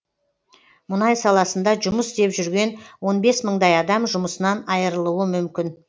мұнай саласында жұмыс істеп жүрген он бес мыңдай адам жұмысынан айырылуы мүмкін